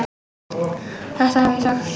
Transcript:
Þetta hefði ég sagt.